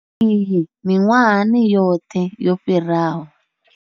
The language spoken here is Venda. Iyi miṅwahani yoṱhe yo fhiraho.